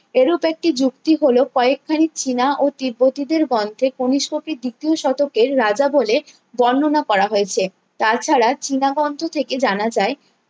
এরূপ একটি যুক্তি হল কয়েক খানি চীন ও তিব্বতীদের গন্ধে কণিস্ককে দ্বিতীয় শতকের রাজা বলে বর্ণনা করা হয়েছে তাছাড়া চীনা গ্রন্থ থেকে জানা যায়